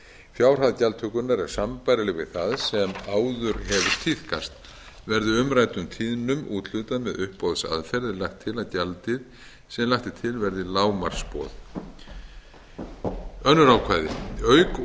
fjárhæð gjaldtökunnar er sambærileg við það sem áður hefur tíðkast verði umræddum tíðnum úthlutað með uppboðsaðferð er lagt til að gjaldið sem lagt er til verði lágmarksboð önnur ákvæði auk